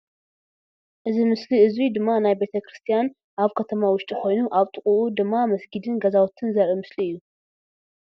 እዚ ምስሊ እዙይ ድማ ናይ ቤተ ክርስትያን ኣብ ከተማ ውሽጢ ኮይኑ ኣብ ጥቅኡ ድማ መስጊድን ገዛውትን ዘርኢ ምስሊ እዩ ።